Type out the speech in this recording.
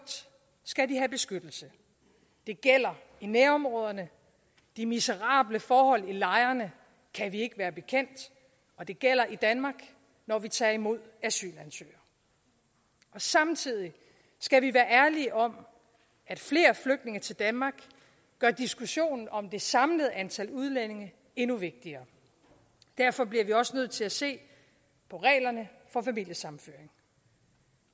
skal de have beskyttelse det gælder i nærområderne de miserable forhold i lejrene kan vi ikke være bekendt og det gælder i danmark når vi tager imod asylansøgere samtidig skal vi være ærlige om at flere flygtninge til danmark gør diskussionen om det samlede antal udlændinge endnu vigtigere derfor bliver vi også nødt til at se på reglerne for familiesammenføring